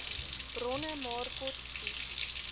bronne maar kortskiet